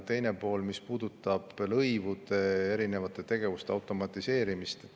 Teine pool puudutab lõivude erinevate tegevuste automatiseerimist.